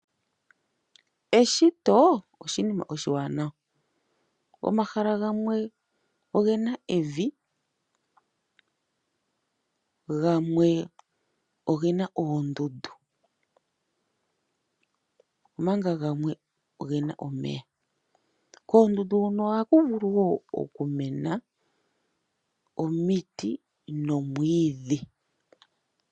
Eshito oshinima oshiwanawa. Omahala gamwe ogena evi, gamwe ogena oondundu omanga gamwe ogena omeya. Koondundu hono ohaku vulu wo okumena omiti nomwiidhi.